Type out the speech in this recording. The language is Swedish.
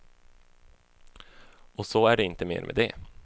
Och så är det inte mer med det.